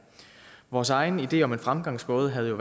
vores egen idé om en fremgangsmåde havde jo